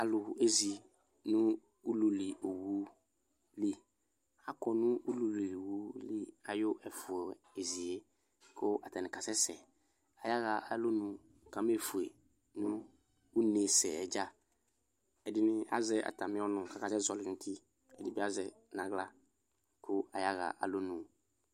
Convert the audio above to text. Alʋ ezi nʋ ululi owʋ li akɔnʋ ululi owʋ ayʋ ɛfʋzie kʋ atani kasɛsɛ ayaɣa alɔnʋ kamefue nʋ une sɛ yɛ dza ɛdini azɛ atami ɔnʋ kʋ akasɛ zɔli nʋ ʋti ɛdini azɛ kʋ ayaɣa alɔnʋ